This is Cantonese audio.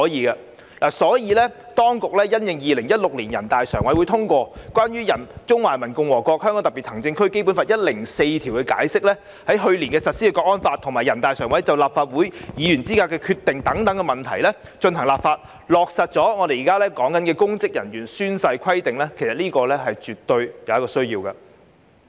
因此，當局因應2016年全國人民代表大會常務委員會通過的《關於〈中華人民共和國香港特別行政區基本法〉第一百零四條的解釋》、去年實施的《香港國安法》，以及人大常委會關於《立法會議員資格問題的決定》進行立法，落實我們現時討論的公職人員宣誓規定，這是絕對有需要的。